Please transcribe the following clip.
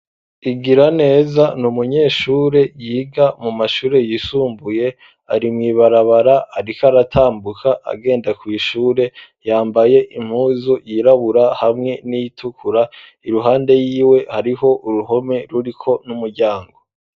Igiraneza, ni umunyeshure, yiga mu mashure yisumbuye; ari mw'ibarabara, ariko aratambuka, agenda kw'ishure; yambaye impuzu yirabura, hamwe n'iyitukura; iruhande yiwe, hariho uruhome, ruriko n'umuryango.